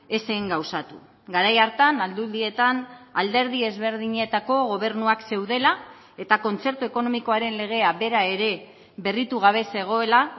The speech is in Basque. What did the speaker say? ez zen gauzatu garai hartan aldundietan alderdi ezberdinetako gobernuak zeudela eta kontzertu ekonomikoaren legea bera ere berritu gabe zegoela